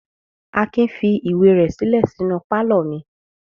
Akin fi ìwé rẹ̀ sílẹ̀ sínú pálọ̀ mi.